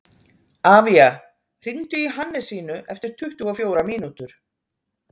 Avía, hringdu í Hannesínu eftir tuttugu og fjórar mínútur.